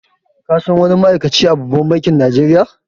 Ka san wani ma'aikaci a babban bankin Najeriya?